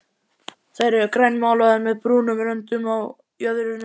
Þær eru grænmálaðar með brúnum röndum á jöðrunum.